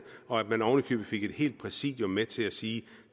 og at man oven i købet fik et helt præsidium med til at sige